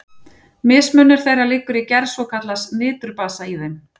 Mismunur þeirra liggur í gerð svokallaðs niturbasa í þeim.